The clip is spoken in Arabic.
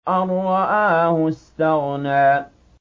أَن رَّآهُ اسْتَغْنَىٰ